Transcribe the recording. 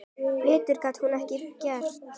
Betur gat hún ekki gert.